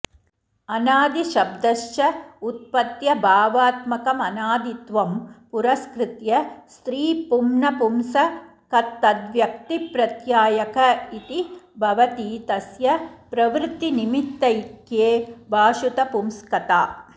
अनादिशब्दश्च उत्पत्त्यभावात्मकमनादित्वं पुरस्कृत्य स्त्रीपुंनपुंसकतत्तद्व्यक्तिप्रत्यायक इति भवति तस्य प्रवृत्तिनिमित्तैक्ये भाषुतपुंस्कता